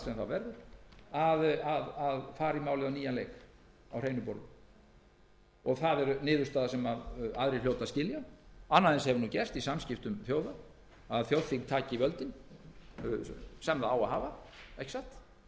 verður að fara í málið á nýjan leik á hreinu borði það er niðurstaða sem aðrir hljóta að skilja annað eins hefur gerst í samskiptum þjóða að þjóðþing taki völdin sem það á að hafa ekki satt